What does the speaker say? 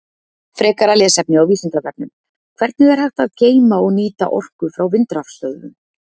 Frekara lesefni á Vísindavefnum: Hvernig er hægt að geyma og nýta orku frá vindrafstöðvum?